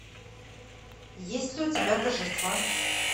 есть ли у тебя торжество